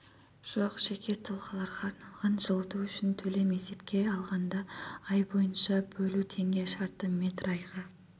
жоқ жеке тұлғаларға арналған жылыту үшін төлем есепке алғанда ай бойынша бөлу теңге шаршы метр айға